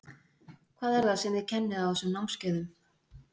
Hvað er það sem þið kennið á þessum námskeiðum?